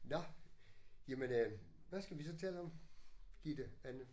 Nåh jamen øh hvad skal vi så tale om? Gitte Anne